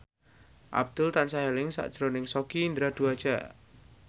Abdul tansah eling sakjroning Sogi Indra Duaja